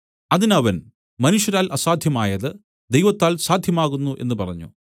അതിന് അവൻ മനുഷ്യരാൽ അസാദ്ധ്യമായത് ദൈവത്താൽ സാദ്ധ്യമാകുന്നു എന്നു പറഞ്ഞു